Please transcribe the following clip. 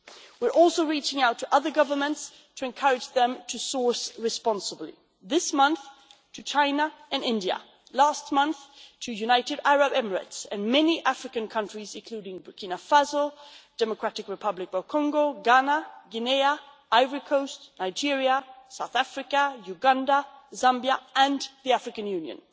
We are also reaching out to other governments to encourage them to source responsibly this month to China and India, last month to the United Arab Emirates and many African countries including Burkina Faso, Democratic Republic of Congo, Ghana, Guinea, Ivory Coast, Nigeria, South Africa, Uganda, Zambia and the African Union.